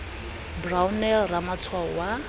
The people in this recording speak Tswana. f g brownell ramatshwao wa